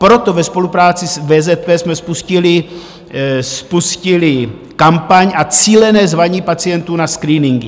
Proto ve spolupráci s VZP jsme spustili kampaň a cílené zvaní pacientů na screeningy.